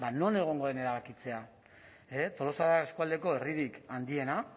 non egongo den erabakitzea tolosa eskualdeko herririk handiena